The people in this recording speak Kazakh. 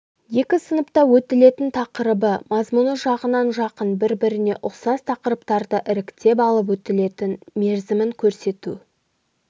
екі сыныпта өтілетін тақырыбы мазмұны жағынан жақын бір-біріне ұқсас тақырыптарды іріктеп алып өтілетін мерзімін көрсету